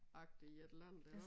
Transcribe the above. Agtig et eller andet iggå